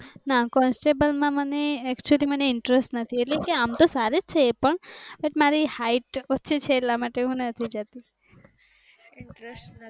ના કોન્સ્ટેબલ માં મને actually માં interest નથી ઍટલે કે આમ તો સારી જ છે એ પણ મારી height ઓછી છે ઍટલ વ્યાજ નથી